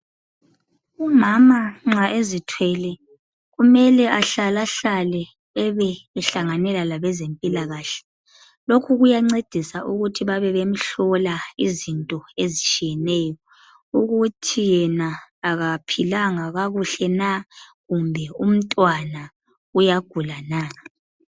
Umama nxa ezithwale kumele ehlala hlale ehlanganele labezempilakahle lokhu kuyanceda ukuba bebe bemhlola izinto ezitshiyeneyo ukuthi yena akaphilanga kakuhle na lokuthi kumbe umntwana uyagula na.